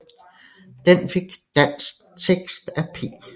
Den fik dansk tekst af P